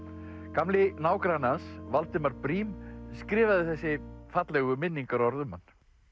gamli nágranni hans Valdimar Briem skrifaði þessi fallegu minningarorð um hann